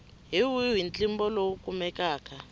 hi wihi ntlimbo lowu kumekaka